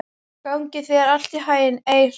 Gangi þér allt í haginn, Eir.